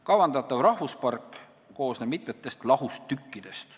Kavandatav rahvuspark koosneb mitmest lahustükist.